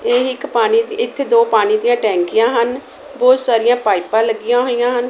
ਇਹ ਇੱਕ ਪਾਣੀ ਇੱਕ ਦੋ ਪਾਣੀ ਦੀਆਂ ਟੈਂਕੀਆਂ ਹਨ ਬਹੁਤ ਸਾਰੀਆਂ ਪਾਈਪਾਂ ਲੱਗੀਆਂ ਹੋਈਆਂ ਹਨ।